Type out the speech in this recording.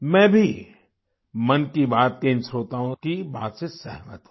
मैं भी मन की बात के इन श्रोताओं की बात से सहमत हूँ